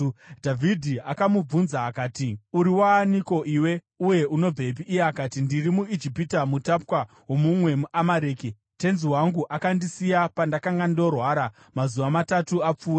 Dhavhidhi akamubvunza akati, “Uri waaniko iwe, uye unobvepi?” Iye akati, “Ndiri muIjipita, mutapwa womumwe muAmareki. Tenzi wangu akandisiya pandakanga ndorwara mazuva matatu apfuura.